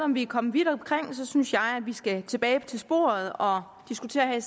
om vi er kommet vidt omkring synes jeg vi skal tilbage på sporet og diskutere